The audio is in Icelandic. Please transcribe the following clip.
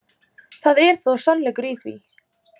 Það er þó sannleikur í því.